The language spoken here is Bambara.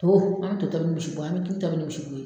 To an bɛ to tagi ni misibo ye, an bɛ kini tobi ni o ye.